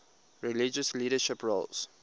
religious leadership roles